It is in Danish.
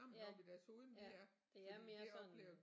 Ja ja det er mere sådan